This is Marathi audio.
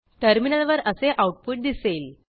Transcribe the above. टर्मिनलवर असे आऊटपुट दिसेल